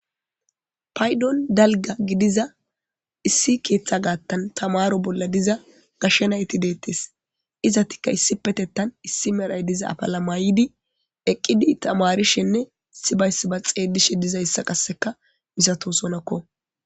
paydon dalga gidiza issi keeththa gaattan tamaro bolla diza gashshenayti deettes izatikka issi petettan issi merhay diza apalamayidi eqqidi tamarishenne issibayssi ba xeelishe dizayssa qasseka misato sonakko